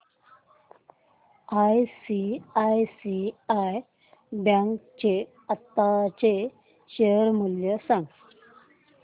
ICICI bank चे आताचे share मूल्य सांगा